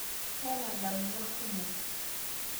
Kaata ndamunot kumo